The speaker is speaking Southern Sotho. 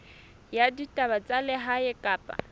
ya ditaba tsa lehae kapa